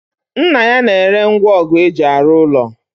Nna ya na-ere ngwongu eji arụ ụlọ